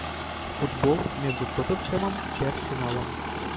футбол между тоттенхэмом и арсеналом